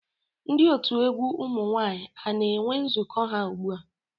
Ndị otu egwu ụmụ nwaanyị a na-enwe nzukọ ha ugbu a?